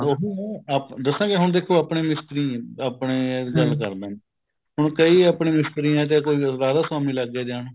ਹਾਂ ਦੱਸਾਂ ਜੀ ਹੁਣ ਦੇਖੋ ਆਪਣੇ ਵੀ ਮਿਸਤਰੀ ਹੀ ਆਪਣੇ ਗੱਲ ਕਰਦਾਂ ਹੁਣ ਕਈ ਆਪਣੇ ਮਿਸਤਰੀ ਹੈ ਜੇ ਕੋਈ ਰਾਧਾ ਸਵਾਮੀ ਲੱਗਗੇ ਜਾਣ